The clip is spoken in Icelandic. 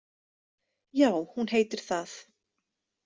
Já, hún heitir það.